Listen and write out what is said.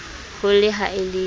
ho le ha e le